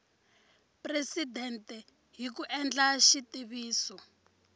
presidente hi ku endla xitiviso